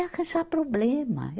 É arranjar problema.